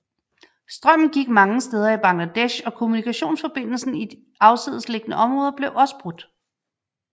Strømmen gik mange steder i Bangladesh og kommunikationsforbindelsen i afsidesliggende områder blev også brudt